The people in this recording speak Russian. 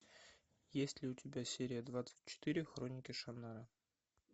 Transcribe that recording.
есть ли у тебя серия двадцать четыре хроники шаннары